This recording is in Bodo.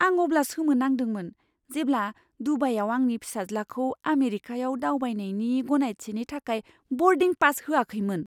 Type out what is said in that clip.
आं अब्ला सोमोनांदोंमोन जेब्ला दुबाईआव आंनि फिसाज्लाखौ आमेरिकायाव दावबायनायनि गनायथिनि थाखाय बर्डिं पासखौ होआखैमोन।